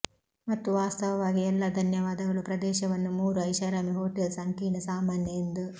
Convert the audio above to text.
ಮತ್ತು ವಾಸ್ತವವಾಗಿ ಎಲ್ಲಾ ಧನ್ಯವಾದಗಳು ಪ್ರದೇಶವನ್ನು ಮೂರು ಐಷಾರಾಮಿ ಹೋಟೆಲ್ ಸಂಕೀರ್ಣ ಸಾಮಾನ್ಯ ಎಂದು